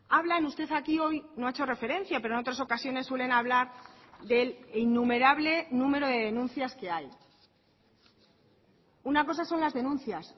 hablan usted aquí hoy no ha hecho referencia pero en otras ocasiones suelen hablar del innumerable número de denuncias que hay una cosa son las denuncias